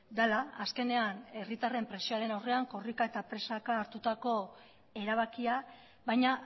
dela azkenean herritarren presioaren aurrean korrika eta presaka hartutako erabakia baina